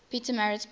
pietermaritzburg